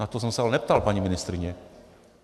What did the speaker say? Na to jsem se ale neptal, paní ministryně.